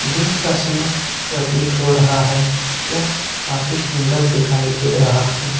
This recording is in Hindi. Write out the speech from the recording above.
दिन का समय प्रतीत हो रहा है यह काफी सुंदर दिखाई दे रहा है।